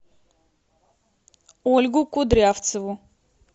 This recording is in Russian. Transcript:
ольгу кудрявцеву